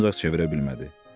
Ancaq çevirə bilmədi.